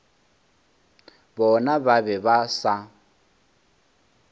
bona ba be ba sa